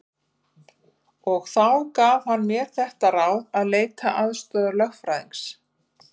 Og þá gaf hann mér þetta ráð að leita aðstoðar lögfræðings.